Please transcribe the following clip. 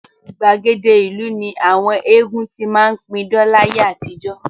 Gbàgede ìlú ni àwọn eégún ti máa ń pidán láyé àtijọ́